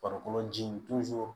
Farikolo ji